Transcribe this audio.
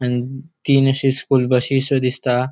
आणि तीन अशी स्कूल बशी शो दिसता.